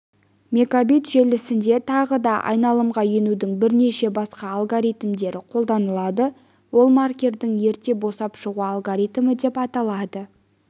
мегабит желісінде тағы да айналымға енудің бірнеше басқа алгоритмдері қолданылады ол маркердің ерте босап шығу алгоритмі деп аталады